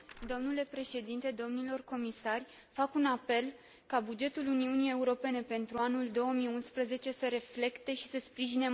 Fac un apel ca bugetul Uniunii Europene pentru anul 2011 să reflecte și să sprijine mai bine politica în domeniul tineretului.